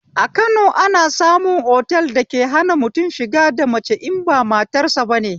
A Kano ana samun otal dake hana mutum shiga da mace in ba matarsa bane